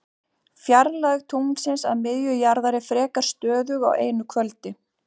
Fjarlægð tunglsins að miðju jarðar er frekar stöðug á einu kvöldi.